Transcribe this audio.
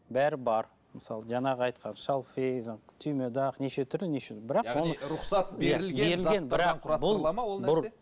бәрі бар мысалы жаңағы айтқан шалфей жаңа түймедақ неше түрлі неше бірақ